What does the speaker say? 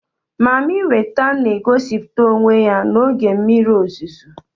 Mami weta n'egosịpụta onwe ya n'oge mmiri ozizo